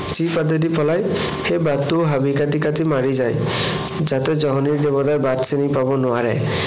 যি বাটেদি পলাই সেই বাটটোও হাবি কাটি কাটি মাৰি যায়। যাতে জহনী দেৱতাই বাট চিনি পাৱ নোৱাৰে।